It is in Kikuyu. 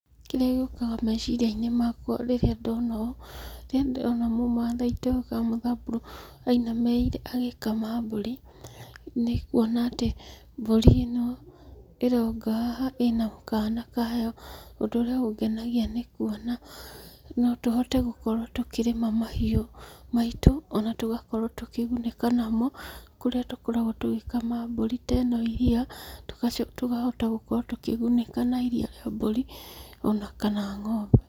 Kĩria gĩukaga meciria-inĩ makwa rĩrĩa ndona ũũ, rĩrĩa ndona mũmathai toyũ kana mũthamburu ainamĩrĩire agĩkama mbũri, nĩ kuona atĩ mbũri ĩno ĩrooka haha ĩna kaana kayo. Ũndũ ũrĩa ũngenagia nĩ kuona no tũhote gukorwo tũkĩrĩma mahiũ maitũ, ona tũgakorwo tũkĩgunĩka namo, kũrĩa tũkoragwo tũgĩkama mbũri ta ĩno iria, tũkahota gũkorwo tũkĩgũnĩka na iria rĩa mbũri, ona kana ng'ombe.